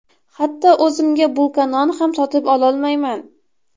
Hatto o‘zimga bulka non ham sotib ololmayman.